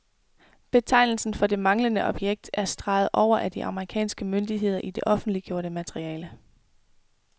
Betegnelsen for det manglende objekt er streget over af de amerikanske myndigheder i det offentliggjorte materiale.